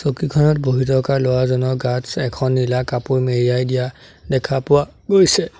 চকীখনত বহি থকা ল'ৰাজনৰ গাত এখন নীলা কাপোৰ মেৰিয়াই দিয়া দেখা পোৱা গৈছে।